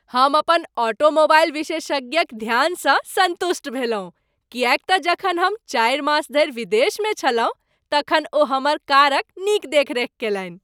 हम अपन ऑटोमोबाइल विशेषज्ञक ध्यानसँ सन्तुष्ट भेलहुँ किएक तँ जखन हम चारि मास धरि विदेशमे छलहुँ तखन ओ हमर कारक नीक देखरेख कयलनि।